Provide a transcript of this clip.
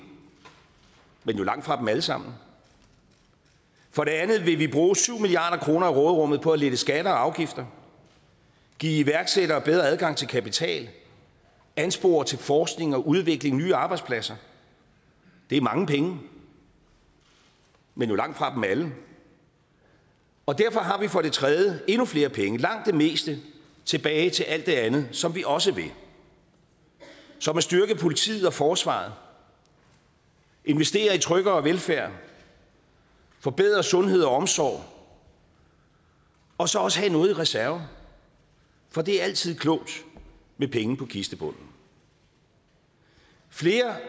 men jo langtfra dem alle sammen for det andet vil vi bruge syv milliard kroner af råderummet på at lette skatter og afgifter give iværksættere bedre adgang til kapital anspore til forskning og udvikling af nye arbejdspladser det er mange penge men jo langtfra dem alle derfor har vi for det tredje endnu flere penge langt de fleste tilbage til alt det andet som vi også vil styrke politiet og forsvaret investere i tryggere velfærd forbedre sundhed og omsorg og så også have noget i reserve for det er altid klogt med penge på kistebunden flere